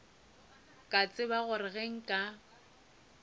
ka tseba gore ge nka